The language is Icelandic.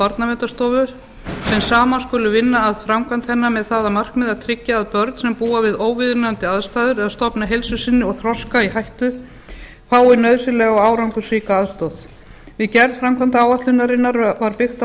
barnaverndarstofu sem saman skulu vinna að framkvæmd hennar með það að markmiði að tryggja að börn sem búa við óviðunandi aðstæður eða stofna heilsu sinni og þroska í hættu fái nauðsynlega og árangursríka aðstoð við gerð framkvæmdaáætlunarinnar var byggt á